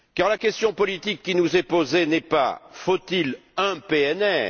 La question politique qui nous est posée n'est en effet pas Faut il un PNR?